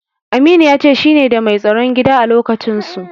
Aminu ya ce shine da mai tsaron gida a lokacinsu.